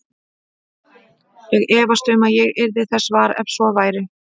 Ég efast um að ég yrði þess var, ef svo væri